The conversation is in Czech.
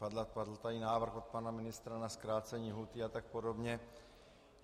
Padl tady návrh od pana ministra na zkrácení lhůty a tak podobně.